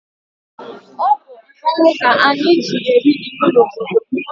Ọ bụ mmọnwụ ka anyị ji eri iwu n'obodo m.